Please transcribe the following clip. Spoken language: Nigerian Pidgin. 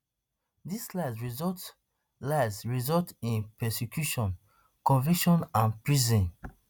dis lies result lies result in prosecution conviction and prison